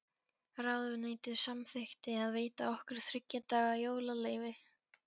Ráðuneytið samþykkti að veita okkur þriggja daga jólaleyfi.